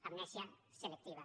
amnèsia selectiva